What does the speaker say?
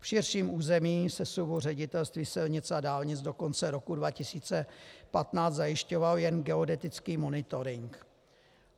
V širším území sesuvu Ředitelství silnic a dálnic do konce roku 2015 zajišťovalo jen geodetický monitoring.